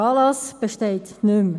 Der Anlass besteht nicht mehr.